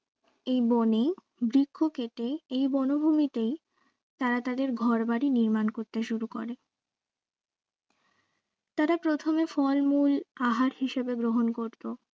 এই বনেই বৃক্ষ কেটে এই বনভূমিতে তারা তাদের তাদের ঘর বাড়ি নির্মাণ করতে শুরু করে তারা প্রথমে ফল মূল আহার হিসাবে গ্রহণ করত